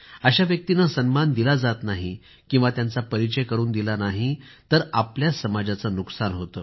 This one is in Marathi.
अशा व्यक्तींना सन्मान दिला नाही किंवा त्यांचा परिचय करून दिला नाही तर आपल्याच समाजाचे नुकसान होते